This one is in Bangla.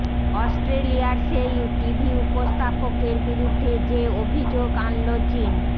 অস্ট্রেলিয়ার সেই টিভি উপস্থাপকের বিরুদ্ধে যে অভিযোগ আনল চীন